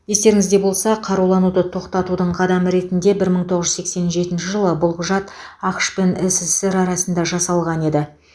естеріңізде болса қарулануды тоқтатудың қадамы ретінде бір мың тоғыз жүз сексен жетінші жылы бұл құжат ақш пен ссср арасында жасалған еді